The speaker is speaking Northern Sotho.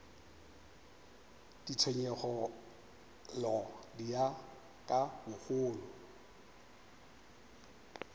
ditshenyegelo di ya ka bogolo